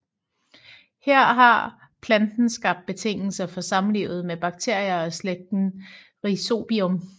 Her har planten skabt betingelser for samlivet med bakterier af slægten Rhizobium